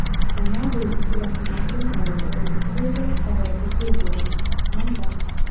Ronaldu kelasi mavsum qayerda o‘ynashi bo‘yicha qarorga kelgan – manba.